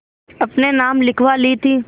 अपने नाम लिखवा ली थी